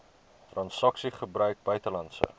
transaksies gebruik buitelandse